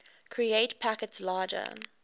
create packets larger